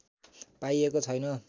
पाइएको छैन